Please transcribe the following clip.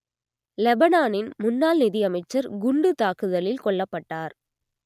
லெபனானின் முன்னாள் நிதி அமைச்சர் குண்டுத் தாக்குதலில் கொல்லப்பட்டார்